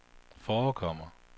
forekommer